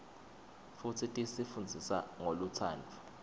futsi tisi fundzisa ngolutsandvo